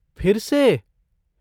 फिर से?